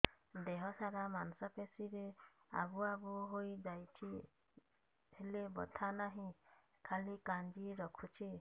ଦେହ ସାରା ମାଂସ ପେଷି ରେ ଆବୁ ଆବୁ ହୋଇଯାଇଛି ହେଲେ ବଥା ନାହିଁ ଖାଲି କାଞ୍ଚି ରଖୁଛି